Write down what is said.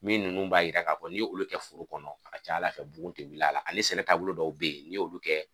Min ninnu b'a jira k'a n'olu kɛ foro kɔnɔ a ka ca Ala fɛ bugun tɛ wuli a la ani sɛnɛ taabolo dɔw bɛ yen n'i y'olu kɛ